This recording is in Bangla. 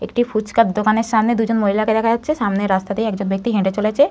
একটি ফুচকার দোকানের সামনে দুজন মহিলাকে দেখা যাচ্ছে সামনে রাস্তা দিয়ে একজন ব্যক্তি হেঁটে চলেছে।